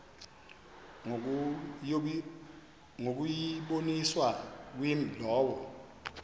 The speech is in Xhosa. ngokuyiboniswa kwimi lowo